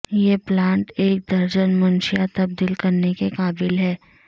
یہ پلانٹ ایک درجن منشیات تبدیل کرنے کے قابل ہے